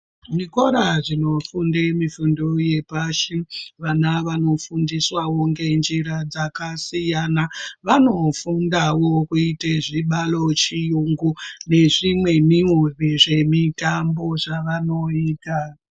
Zvikora zvinofunde mifundo yepashi vana vanofundiswawo ngenjira dzakasiyana vanofundawo kuite zvibalo chiyungu nezvimwewo zvemutambo zvavanoita.